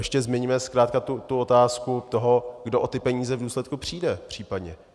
Ještě zmiňme zkrátka tu otázku toho, kdo o ty peníze v důsledku přijde případně.